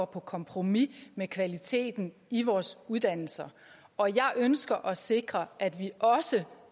på kompromis med kvaliteten i vores uddannelser og jeg ønsker at sikre at vi også